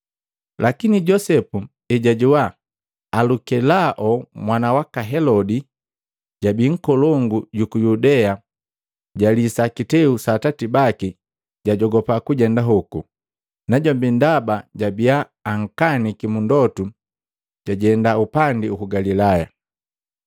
Lakini Josepu ejajoa Alukelao mwana waka Helodi, jabii nkolongu juku Yudea jalisa kiteu sa atati baki, jajogopa kujenda hoku. Najombi ndaba babiya ankaniki mundotu jajenda upandi uku Galilaya,